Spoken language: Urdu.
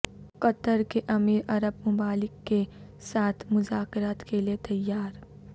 قطر کے امیر عرب ممالک کے ساتھ مذاکرات کے لیے تیار